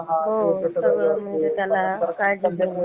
अह